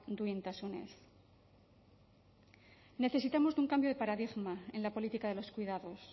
duintasunez necesitamos de un cambio de paradigma en la política de los cuidados